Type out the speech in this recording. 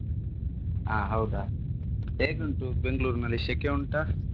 ಹಾ ಹೌದಾ? ಹೇಗುಂಟು Bangalore ನಲ್ಲಿ ಶೆಕೆ ಉಂಟಾ?